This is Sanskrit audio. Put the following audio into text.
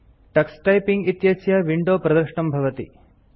टक्स टाइपिंग इत्यस्य विंडो प्रदृष्टं भवति